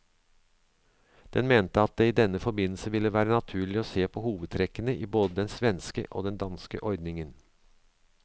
Den mente at det i denne forbindelse ville være naturlig å se på hovedtrekkene i både den svenske og den danske ordningen.